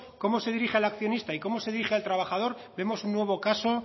cómo se dirige al accionista y cómo se dirige al trabajador vemos un nuevo caso